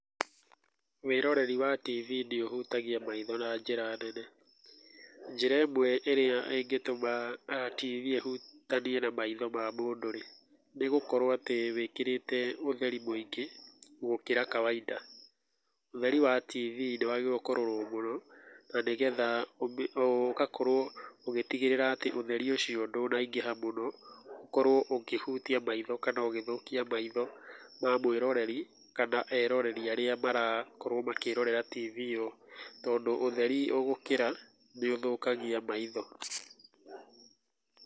Wĩroreri wa TV nĩũhutagia maitho na njĩra nene. Njira ĩmwe ĩrĩa ĩngĩtũma TV ĩhutanie na maitho ma mũndũ-rĩ, nĩgũkorwo atĩ wĩkĩrĩte ũtheri mũingĩ gũkĩra wa kawaida. Ũtheri wa TV nĩwagĩrĩirwo kũrorwo mũno tondũ nĩgetha ũgakorwo ũgĩtigĩrĩra atĩ ũtheri ũcio ndũnaingĩha mũno, ũkorwo ũkĩhutia maitho kana ũgĩthũkia maitho ma mwĩroreri kana eroreri arĩa marakorwo makĩrorera TV ĩyo, tondũ ũtheri ũgũkĩra nĩũthũkagia maitho.